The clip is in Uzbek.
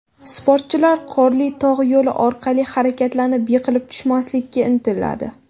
Sportchilar qorli tog‘ yo‘li orqali harakatlanib, yiqilib tushmaslikka intiladi.